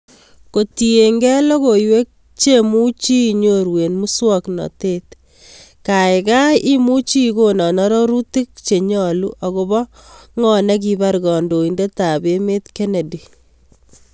Kotienge logoiywek chemuchi inoru en muswagnatet gaigai imuchi igonan arorutik chenyalu agobo ng'o negibar kandoindetab emet kennedy